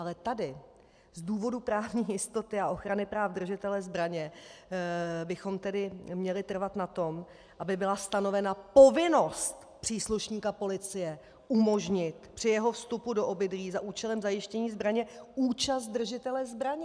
Ale tady z důvodů právní jistoty a ochrany práv držitele zbraně bychom tedy měli trvat na tom, aby byla stanovena povinnost příslušníka policie umožnit při jeho vstupu do obydlí za účelem zajištění zbraně účast držitele zbraně.